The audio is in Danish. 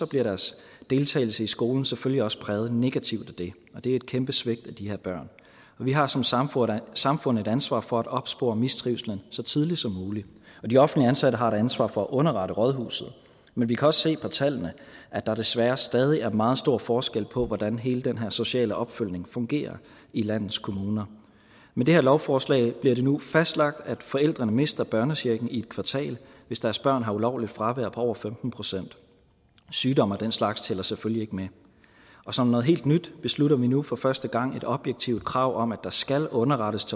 bliver deres deltagelse i skolen selvfølgelig også præget negativt af det og det er et kæmpe svigt af de her børn vi har som samfund samfund et ansvar for at opspore mistrivsel så tidligt som muligt de offentligt ansatte har ansvar for at underrette rådhuset men vi kan også se på tallene at der desværre stadig er meget stor forskel på hvordan hele den her sociale opfølgning fungerer i landets kommuner med det her lovforslag bliver det nu fastlagt at forældrene mister børnechecken i et kvartal hvis deres børn har et ulovligt fravær på over femten procent sygdom og den slags tæller selvfølgelig ikke med og som noget helt nyt beslutter vi nu for første gang et objektivt krav om at rådhuset skal underrettes